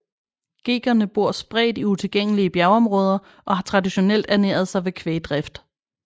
Ghegerne bor spredt i utilgængelige bjergområder og har traditionelt ernæret sig ved kvægdrift